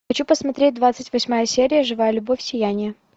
хочу посмотреть двадцать восьмая серия живая любовь сияние